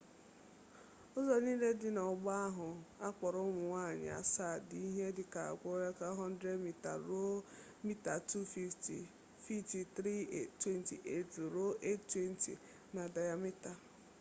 ụzọ niile dị n'ọgba ahụ a kpọrọ ụmụnne nwanyị asaa” dị ihe dịka opekatampe 100 mita ruo mita 250 fiiti 328 ruo 820 na dayamita